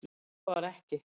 Svo var ekki.